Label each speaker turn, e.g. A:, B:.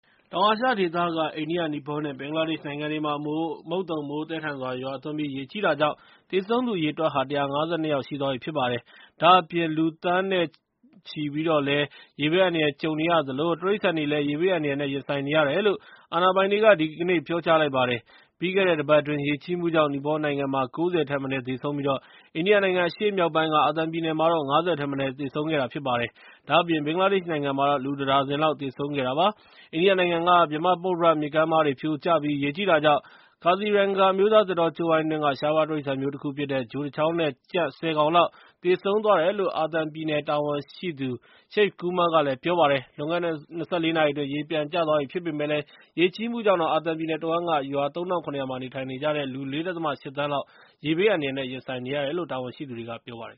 A: တောင်အာရှဒေသက အိန္ဒိယ၊ နီပေါနဲ့ ဘင်္ဂလားဒေ့ရှ်နိုင်ငံတွေမှာ မုတ်သုန်မိုး သည်းထန်စွာ ရွာသွန်းပြီး ရေကြီးတာကြောင့် သေဆုံးသူ အရေအတွက်ဟာ ၁၅၂ ယောက်ရှိသွားပြီ ဖြစ်ပါတယ်။ ဒါ့အပြင် လူတွေ သန်းနဲ့ချီ ရေဘေးအန္တရာယ်နဲ့ ရင်ဆိုင်နေရသလို နဲ့ တိရစ္ဆာန်တွေလည်း ရေဘေးအန္တရာယ်နဲ့ ကြုံနေရတယ်လို့ အာဏာပိုင်တွေက ဒီကနေ့ ပြောကြားလိုက်ပါတယ်။ ပြီးခဲ့တဲ့ တပတ်အတွင်း ရေကြီးမှုကြောင့် နီပေါနိုင်ငံမှာ ၉၀ ထက်မနည်း သေဆုံးပြီး အိန္ဒိယနိုင်ငံအရှေ့မြောက်ပိုင်းက အာသံပြည်နယ်မှာတော့ ၅၀ ထက်မနည်း သေဆုံးခဲ့ပါတယ်။ ဒါ့အပြင် ဘင်္ဂလားဒေ့ရှ်နိုင်ငံမှာတော့ လူ တ ဒါဇင်လောက် သေဆုံးသွားခဲ့ပါတယ်။ အိန္ဒိယနိုင်ငံ ဗြဟ္မပုတ္တရမြစ်ကမ်းပါးတွေ ပြိုကျပြီး ရေကြီးတာကြောင့် ကာဇီရန်ဂါ အမျိုးသားသစ်တောကြိုးဝိုင်းအတွင်းက ရှားပါးတိရစ္ဆာန်မျိုး တခု ဖြစ်တဲ့ ချို တ ချောင်း နဲ့ ကြံ့ ဆယ် ကောင်လောက် သေဆုံးသွားတယ်လို့ အာသံပြည်နယ် တာဝန်ရှိသူ Shiv Kumar က ပြောပါတယ်။ လွန်ခဲ့တဲ့ ၂၄ နာရီအတွင်း ရေပြန်ကျသွားပြီ ဖြစ်ပေမဲ့လည်း ရေကြီးမှုကြောင့် အာသံပြည်နယ်တဝှမ်းက ရွာ ၃၇၀၀ မှာ နေထိုင်နေကြတဲ့ လူ ၄.၈ သန်းလောက် ရေဘေးဒုက္ခနဲ့ ရင်ဆိုင်နေရတယ်လို့ အာသံပြည်နယ်ရဲ့ ဘေးဒုက္ခကယ်ဆယ်ရေးဌာန တာဝန်ရှိသူ တဦးက ပြောပါတယ်